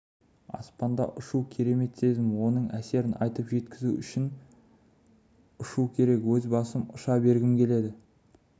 аспанда ұшу керемет сезім оның әсерін айтып жеткізу үшін ұшу керек өз басым ұша бергім келеді